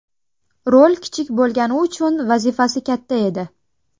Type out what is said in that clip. Rol kichik bo‘lgani uchun, vazifasi katta edi.